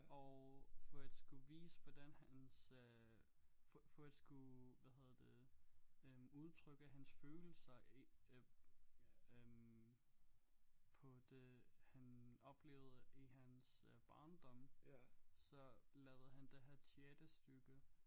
Og for at skulle vise hvordan hans øh for for at skulle hvad hedder det øh udtrykke hans følelser i øh øh på det han oplevede i hans øh barndom så lavede han det her teaterstykke